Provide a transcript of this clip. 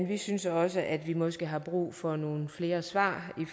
vi synes også at vi måske har brug for nogle flere svar